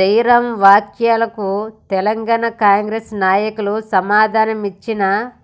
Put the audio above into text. జైరాం వ్యాఖ్యలకు తెలంగాణ కాంగ్రెస్ నాయకులు సమాధానమిచ్చిన